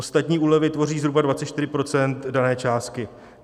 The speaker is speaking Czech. Ostatní úlevy tvoří zhruba 24 % dané částky.